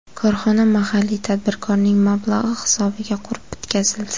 Korxona mahalliy tadbirkorning mablag‘i hisobiga qurib bitkazildi.